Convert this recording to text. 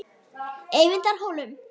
Eyvindarhólum